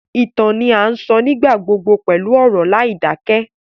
Ìtàn ni a sọ nígbà gbogbo pẹlu ọ̀rọ̀ láìdakẹ